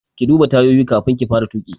Ki duba tayoyi kafin ki fara tuƙi!